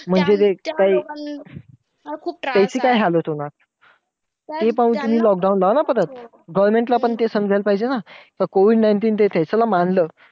म्हणजे ते काही त्यांची काय हालत होणार? ते पाहून तुम्ही lockdown लावा ना परत. government ला पण ते समजायला पाहिजे ना, का COVID nineteen येतंय तर चला मानलं.